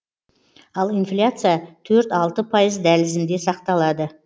ал инфляция төрт алты пайыз дәлізінде сақталады